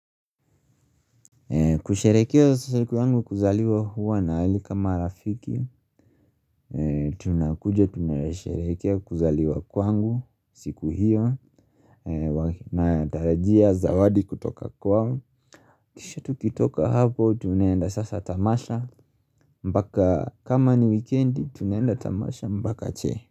Kusherekea siku yangu kuzaliwa huwa naalika marafiki, tunakuja, tunaresherekea kuzaliwa kwangu, siku hiyo, natarajia zawadi kutoka kwao. Kisha tukitoka hapo, tunaenda sasa tamasha, mbaka kama ni weekendi, tunaenda tamasha mbaka che.